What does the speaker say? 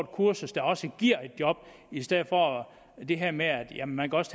kursus der også giver et job i stedet for det her med at man også